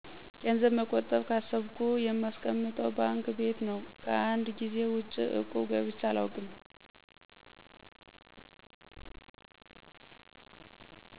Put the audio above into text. ገንዘብ መቆጠብ ካሰብኩ የማስቀምጠው ባንክ ቤት ነው። ከአንድ ጊዜ ውጭ እቁብ ገብቼ አላውቅም።